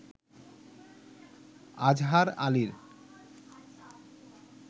আজহার আলীর